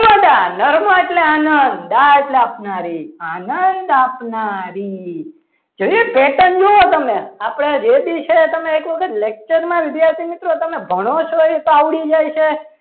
જશોદા નરમાં આવે એટલે નાદ આપનારી નંદ આપનારી જોયું patent જોવો તમે આપણે જે બી છે તમે એક વખત lecture માં વિદ્યાર્થી મિત્રો તમે ભણો છો એ તો આવડી જાય છે.